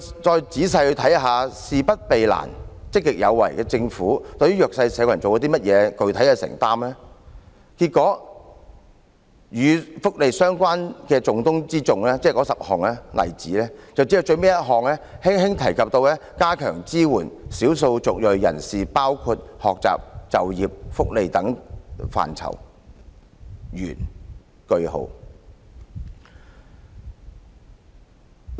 再仔細看看"事不避難、積極有為"的政府對弱勢社群有甚麼具體的承擔，結果與福利相關的重中之重政策，即該10項例子中，只有最後一項輕輕提及會加強支援少數族裔人士，包括在學習、就業、福利等範疇，完，句號。